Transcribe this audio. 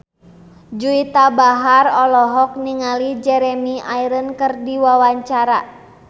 Juwita Bahar olohok ningali Jeremy Irons keur diwawancara